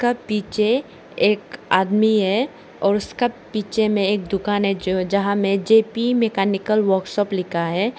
का पीछे एक आदमी है और उसका पीछे में एक दुकान है जो जहां में जे_पी मैकेनिकल वर्कशॉप लिखा है।